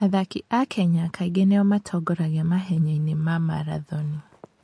Athaki a Kenya kaingĩ nĩo matongoragia mahenya-inĩ ma marathoni.